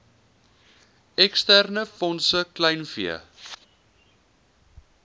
eksterne fondse kleinvee